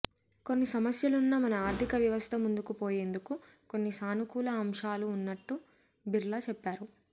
కొన్ని సమస్యలున్నా మన ఆర్థిక వ్యవస్థ ముందుకు పోయేందుకు కొన్ని సానుకూల అంశాలు ఉన్నట్టు బిర్లా చెప్పారు